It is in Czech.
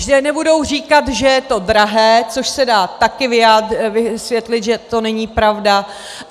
Že nebudou říkat, že je to drahé - což se dá také vysvětlit, že to není pravda.